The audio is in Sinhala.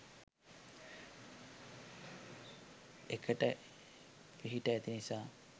එකට පිහිටා ඇති නිසා